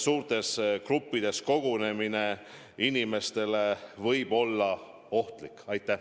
Suurtes gruppides kogunemine võib inimestele ohtlik olla.